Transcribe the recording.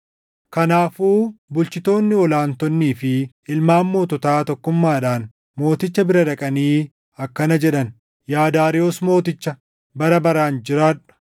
Kanaafuu bulchitoonni ol aantonnii fi ilmaan moototaa tokkummaadhaan mooticha bira dhaqanii akkana jedhan; “Yaa Daariyoos mooticha, bara baraan jiraadhu!